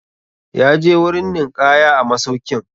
Ya je wurin ninƙaya a masaukin.